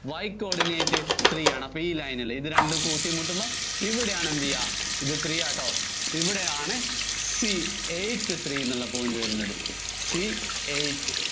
Y coordinate three ആണ്. അപ്പോ ഈ line നില്‍ ഇത് രണ്ടും കൂട്ടിമുട്ടുമ്പോ ഇവിടെയാണ് എന്തുചെയ്യാ ഇത് three ആട്ടോ, ഇവിടെയാണ് C eight three എന്നുള്ള point വരുന്നത്. C eight